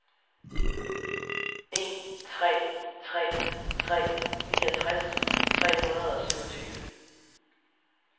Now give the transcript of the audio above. en tre tre tre niogtres tre hundrede og syvogtyve